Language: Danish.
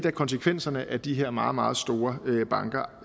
af konsekvenserne af de her meget meget store banker